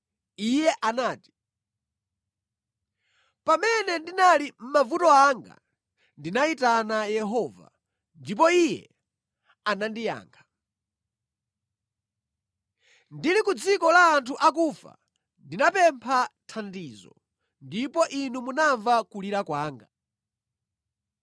Iye anati: “Pamene ndinali mʼmavuto anga ndinayitana Yehova, ndipo Iye anandiyankha. Ndili ku dziko la anthu akufa ndinapempha thandizo, ndipo Inu munamva kulira kwanga.